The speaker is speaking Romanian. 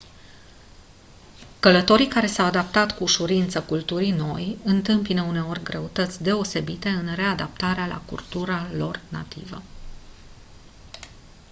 călătorii care s-au adaptat cu ușurință culturii noi întâmpină uneori greutăți deosebite în readaptarea la cultura lor nativă